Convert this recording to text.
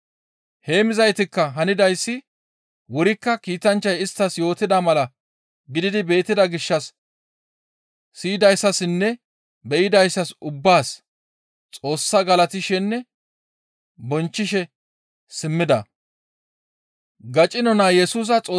Heemmizaytikka hanidayssi wurikka kiitanchchay isttas yootida mala gididi beettida gishshas siyidayssassinne be7idayssas ubbaas Xoossa galatishenne bonchchishe simmida.